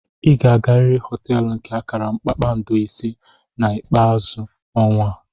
Ị ga-agarịrị họteelu nke akara kpakpando ise na ikpeazu ọnwa a.